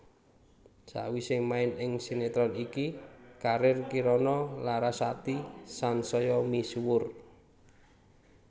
Sawisé main ing sinetron iki karir Kirana Larasati sansaya misuwur